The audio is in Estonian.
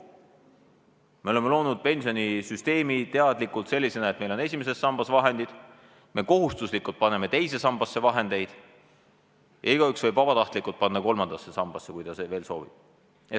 Me oleme loonud pensionisüsteemi teadlikult sellisena, et meil on esimeses sambas vahendid, me kohustuslikult paneme teise sambasse vahendeid ja igaüks võib vabatahtlikult panna kolmandasse sambasse, kui ta seda soovib.